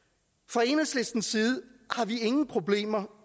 fra enhedslistens side har vi ingen problemer